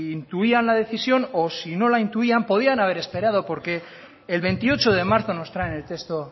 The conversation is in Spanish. intuían la decisión y si no la intuían podían haber esperado porque el veintiocho de marzo nos traen el texto